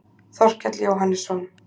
Þorkell Jóhannesson.